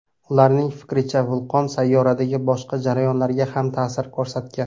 Ularning fikricha, vulqon sayyoradagi boshqa jarayonlarga ham ta’sir ko‘rsatgan.